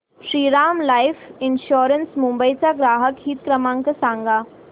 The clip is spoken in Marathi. श्रीराम लाइफ इन्शुरंस मुंबई चा ग्राहक हित क्रमांक सांगा